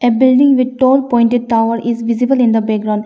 building with tall pointed tower is visible in the background.